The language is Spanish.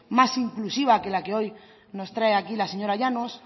más inclusiva que la que hoy nos trae la señora llanos